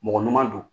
Mɔgɔ ɲuman don